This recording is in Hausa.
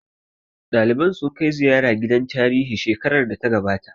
Ɗaliban sun kai ziyara gidan tarihi shekarar da ta gabata